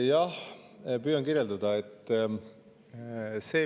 Jah, püüan kirjeldada.